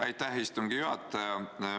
Aitäh, istungi juhataja!